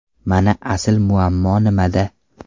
Mana asl muammo nimada!